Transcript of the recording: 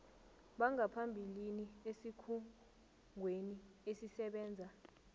bangaphambilini esikhungweni esisebenza